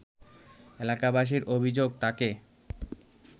এলাকাবাসীর অভিযোগ তাকে